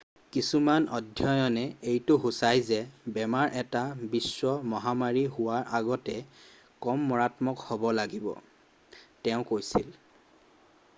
কিছুমান অধ্যয়নে এইটো সুচাই যে বেমাৰ এটা বিশ্ব মহামাৰী হোৱাৰ আগতে কম মাৰাত্মক হ'ব লাগিব তেওঁ কৈছিল